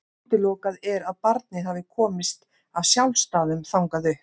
Útilokað er að barnið hafi komist af sjálfsdáðum þangað upp.